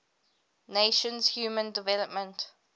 nations human development